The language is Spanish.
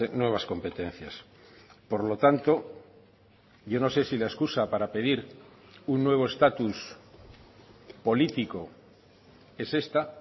nuevas competencias por lo tanto yo no sé si la excusa para pedir un nuevo estatus político es esta